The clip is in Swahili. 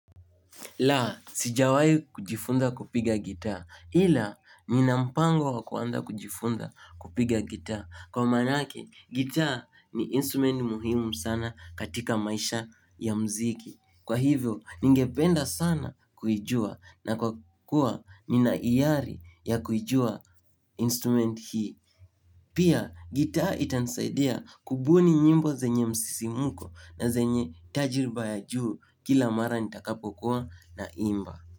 La, sijawai kujifunza kupiga gitaa. Ila, nina mpango wa kuanza kujifunza kupiga gitaa. Kwa maanake, gitaa ni instrument muhimu sana katika maisha ya mziki. Kwa hivyo, ningependa sana kuijua na kwa kuwa nina iari ya kuijua instrument hii. Pia gitaa itanisaidia kubuni nyimbo zenye msisimuko na zenye tajriba ya juu kila mara nitakapokuwa na imba.